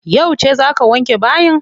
Yauce za ka wanke bayi?